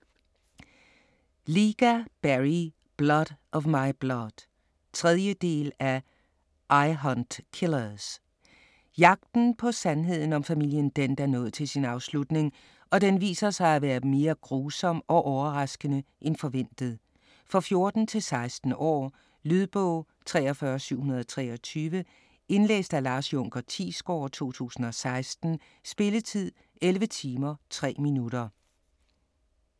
Lyga, Barry: Blood of my blood 3. del af I hunt killers. Jagten på sandheden om familien Dent er nået til sin afslutning, og den viser sig at være mere grusom og overraskende end forventet. For 14-16 år. Lydbog 43723 Indlæst af Lars Junker Thiesgaard, 2016. Spilletid: 11 timer, 3 minutter.